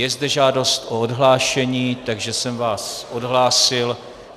Je zde žádost o odhlášení, takže jsem vás odhlásil.